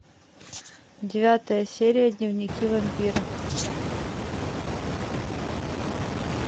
девятая серия дневники вампира